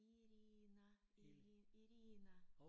Irina Irina